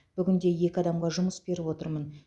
бүгінде екі адамға жұмыс беріп отырмын